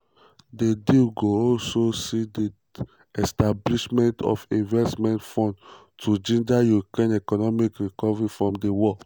di deal go also see di establishment of investment fund to ginger ukraine economic recovery from di war.